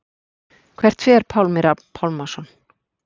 Hvert fer Pálmi Rafn Pálmason?